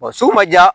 Wa sugu ma diya